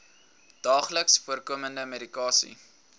daagliks voorkomende medikasie